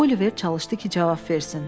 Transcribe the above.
Oliver çalışdı ki, cavab versin.